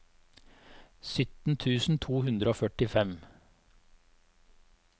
sytten tusen to hundre og førtifem